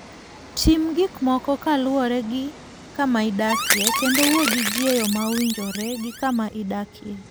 Tim gik moko kaluwore gi kama idakie, kendo wuo gi ji e yo mowinjore gi kama idakie.